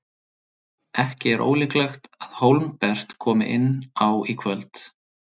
Ekki er ólíklegt að Hólmbert komi inn á í kvöld.